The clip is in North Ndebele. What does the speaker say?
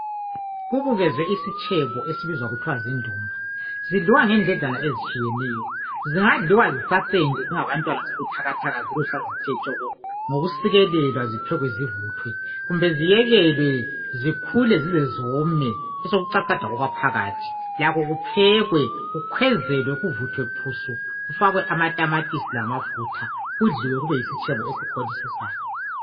Kubukeze isitshbo esizwa kuthwa zindumba. Zidliwa ngendledlana ezitshiyeneyo. Zingadliwa isasenje zingabantwana zibuthakathaka ziluhlaza zithe tshoko ngokusikelwa ziphekwe zivuthwe kumbe ziyekelwe zikhule zizezome besokucacadwa okwaphakathi lakho kuphekwe kukhwezelwe kuvuthwe phusu kufakwe amatamatisi amafutha kube yisitshebo esikholisisayo.